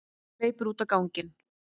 Hleypur út á ganginn.